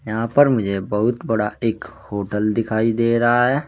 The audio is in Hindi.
यहां पर मुझे बहुत बड़ा एक होटल दिखाई दे रहा है।